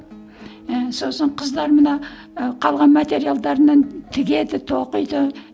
і сосын қыздар мына і қалған материалдарынан тігеді тоқиды